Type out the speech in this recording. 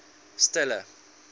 stella